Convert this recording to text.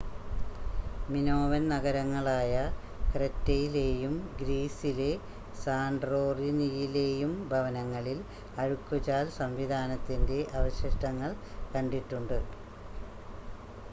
Minoan നഗരങ്ങളായ ക്രെറ്റെയിലെയും ഗ്രീസിലെ സാൻ്റോറിനിയിലെയും ഭവനങ്ങളിൽ അഴുക്കുചാൽ സംവിധാനത്തിൻ്റെ അവശിഷ്ടങ്ങൾ കണ്ടിട്ടുണ്ട്